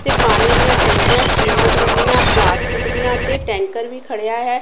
ਤੇ ਪਾਣੀ ਦੀਆਂ ਟੈਂਕੀਆਂ ਸੀਮਟ ਵੱਲੀਆਂ ਪਲਾਸਟਿਕ ਦੀਆਂ ਤੇ ਟੈਂਕਰ ਵੀ ਖੜਿਆ ਹੈ।